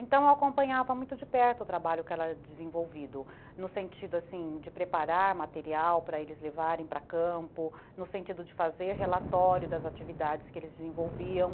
Então, eu acompanhava muito de perto o trabalho que era desenvolvido, no sentido assim, de preparar material para eles levarem para campo, no sentido de fazer relatório das atividades que eles desenvolviam.